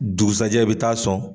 Dugujsajɛ i bɛ taa sɔn